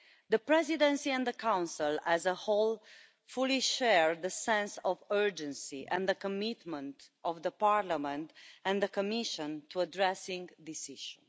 The Presidency and the Council as a whole fully share the sense of urgency and the commitment of the Parliament and the Commission in addressing this issue.